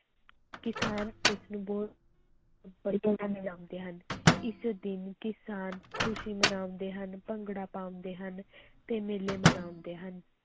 ਕਿਸਾਨ ਇਸਨੂੰ ਬਹੁਤ ਮਨਾਉਂਦੇ ਹਨ, ਇਸ ਦਿਨ ਕਿਸਾਨ ਖ਼ੁਸ਼ੀ ਮਨਾਉਂਦੇ ਹਨ, ਭੰਗੜਾ ਪਾਉਂਦੇ ਹਨ ਤੇ ਮੇਲੇ ਮਨਾਉਂਦੇ ਹਨ।